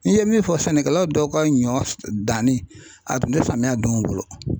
N'i ye min fɔ sɛnɛkɛlaw dɔw ka ɲɔ danni a tun tɛ samiya don